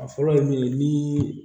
A fɔlɔ ye min ye ni